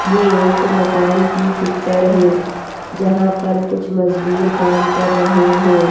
ये एक मकान की पिक्चर है जहां पर कुछ मजदूर काम कर रहे हैं।